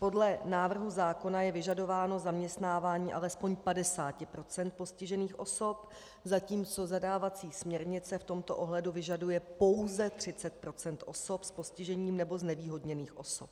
Podle návrhu zákona je vyžadováno zaměstnávání alespoň 50 % postižených osob, zatímco zadávací směrnice v tomto ohledu vyžaduje pouze 30 % osob s postižením nebo znevýhodněných osob.